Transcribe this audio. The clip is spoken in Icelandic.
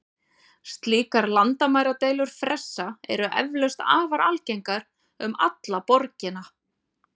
Slíkar landamæradeilur fressa eru eflaust afar algengar um alla borgina.